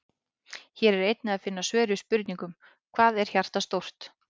Hér er einnig að finna svör við spurningunum: Hvað er hjartað stórt?